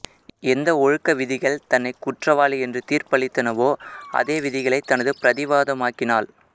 எந்த ஒழுக்க விதிகள் தன்னைக் குற்றவாளி என்று தீர்ப்பளித்தனவோ அதேவிதிகளை தனது பிரதிவாதமாக்கினாள்